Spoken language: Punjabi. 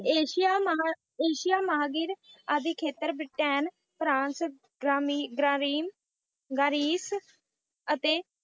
ਏਸ਼ੀਆ ਮਹਾਂ ਏਸ਼ੀਆ ਮਹਾਂਗਰ ਆਦਿ ਖੇਤਰ ਬ੍ਰੀਟੇਨ, ਫਰਾਂਸ, ਗਰਾਮੀ~ ਗ੍ਗਰਾਮੀਨ, ਗਰੀਸ ਅਤੇ